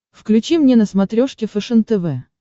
включи мне на смотрешке фэшен тв